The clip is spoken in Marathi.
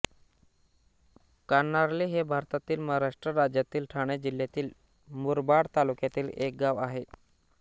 कान्हार्ले हे भारतातील महाराष्ट्र राज्यातील ठाणे जिल्ह्याच्या मुरबाड तालुक्यातील एक गाव आहे